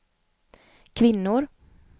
kvinnor